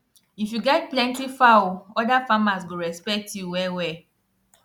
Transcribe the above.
if you get plenty fowl other farmers go respect you wellwell